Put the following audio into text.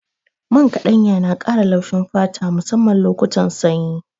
Man ƙaɗanya yana ƙara laushin fata musamman lokutan sanyi.